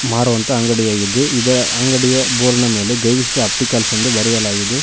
ಮಾರುವಂತ ಅಂಡಿಯಾಗಿದ್ದು ಇದರ ಅಂಗಡಿಯ ಬೋರ್ಡ್ ಮೇಲೆ ಗವಿಶ್ರೀ ಆಪ್ಟಿಕಲ್ಸ್ ಎಂದು ಬರೆಯಲಾಗಿದೆ.